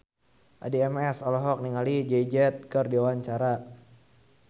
Addie MS olohok ningali Jay Z keur diwawancara